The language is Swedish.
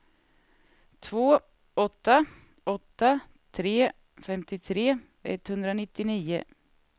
två åtta åtta tre femtiotre etthundranittionio